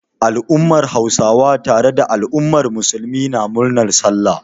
Al'ummar Hausawa tare da al'ummar Musulmi na murnar Sallah.